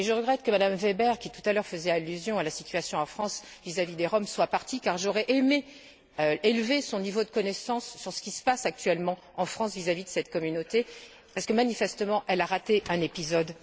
Je regrette que Mme Weber qui, tout à l'heure, faisait allusion à la situation en France vis à vis des Roms soit partie, car j'aurais aimé élever son niveau de connaissance sur ce qui se passe actuellement en France vis à vis de cette communauté, parce que, manifestement, elle a raté un épisode.